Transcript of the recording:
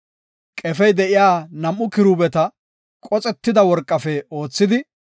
Qefey de7iya nam7u kiruubeta qoxetida worqafe oothidi,